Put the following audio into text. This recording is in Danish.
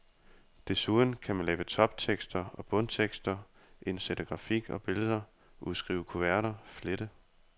Desuden kan man lave toptekster og bundtekster, indsætte grafik og billeder, udskrive kuverter, flette.